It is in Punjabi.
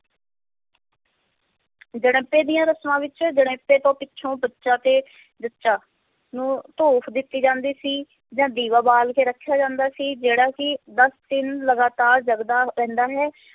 ਜਣੇਪੇ ਦੀਆਂ ਰਸਮਾਂ ਵਿੱਚ ਜਣੇਪੇ ਤੋਂ ਪਿੱਛੇ ਬੱਚਾ ਤੇ ਜੱਚਾ ਨੂੰ ਧੂਪ ਦਿੱਤੀ ਜਾਂਦੀ ਸੀ ਜਾਂ ਦੀਵਾ ਬਾਲ ਕੇ ਰੱਖਿਆ ਜਾਂਦਾ ਸੀ, ਜਿਹੜਾ ਕਿ ਦਸ ਦਿਨ ਲਗਾਤਾਰ ਜਗਦਾ ਰਹਿੰਦਾ ਹੈ।